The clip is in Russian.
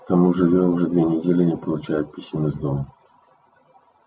к тому же я уже две недели не получаю писем из дома